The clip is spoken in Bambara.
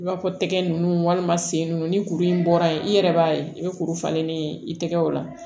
I b'a fɔ tɛgɛ ninnu walima sen nunnu ni kuru in bɔra yen i yɛrɛ b'a ye i bɛ kuru falenni ye i tɛgɛ o la